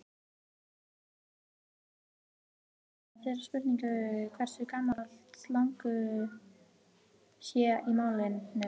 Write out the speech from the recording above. Einmitt vegna þess er erfitt að svara þeirri spurningu hversu gamalt slangur sé í málinu.